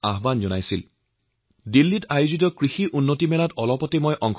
মই কিছুদিন আগতে দিল্লীত আয়োজিত কৃষি উন্নতি মেলাত অংশ লৈছিলো